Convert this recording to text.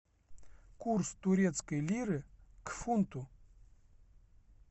курс турецкой лиры к фунту